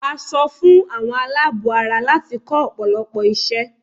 A sọ fún àwọn aláàbọ̀ ara láti kọ́ ọ̀pọ̀lọpọ̀ iṣẹ́